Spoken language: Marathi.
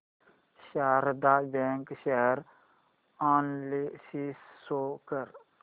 Sharda bank share analysis show कर